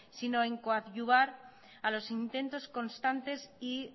sino en coadyuvar a los intentos constantes y